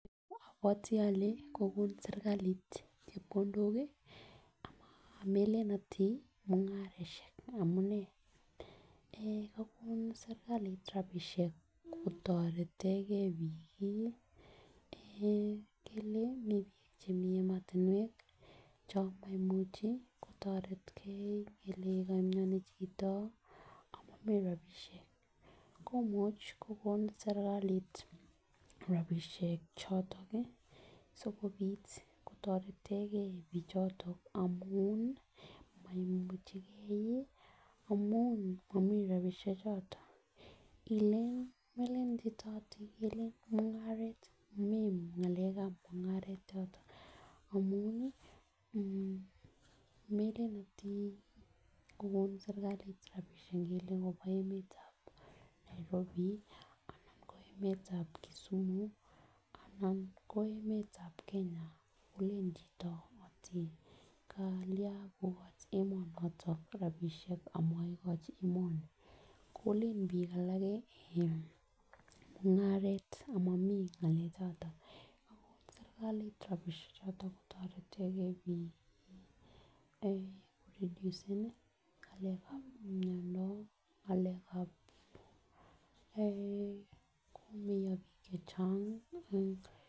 Kotianit kokon sirkalit chepkondok amelel ati mungaroshek amunee eh kokon sirkalit rabishek kotoretengee bik kii eh ngele mii chemeii emotunwek chon moimuche kotoretengee ikele komioni chito amomii rabishek komuche kokon sirkalit rabishek chotok kii sikopit kotoretengee bichotom amun moimuchigee amun momii rabishek choton ile melen chito eti kemii mumgaret momii ngalekab munngaret yoton amun nii melele ati kokon sirkalit rabishek ngele kobwa emetab Nairobi anan ko emetab Kisumu anan ko emetab Kenya kolen chito ati kalian kokochi emonotin rabishek amoikochi emeoni, kolen bik alak kii en mungaret amomii ngalek choton kokon sirkalit rabishek choton kotoretengee bik en koredusen nii ngalekab miondo ngalekab eeh komeo bik chechang ee.